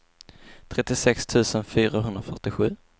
trettiosex tusen fyrahundrafyrtiosju